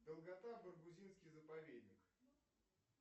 долгота баргузинский заповедник